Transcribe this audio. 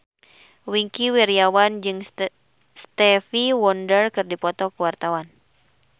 Wingky Wiryawan jeung Stevie Wonder keur dipoto ku wartawan